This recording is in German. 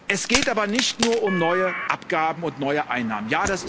Es geht aber nicht nur um neue Abgaben und neue Einnahmen.